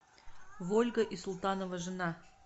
вольга и султанова жена